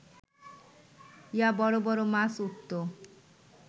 ইয়া বড় বড় মাছ উঠত